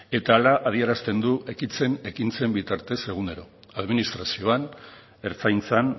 eta hala adierazten du ekintzen bitartez egunero administrazioan ertzaintzan